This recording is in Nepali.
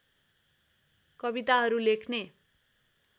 कविताहरू लेख्ने